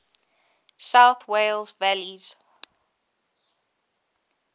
south wales valleys